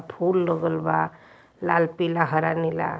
फूल लगल बा लाल पीला हरा नीला।